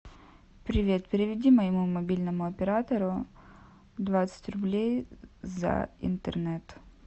привет переведи моему мобильному оператору двадцать рублей за интернет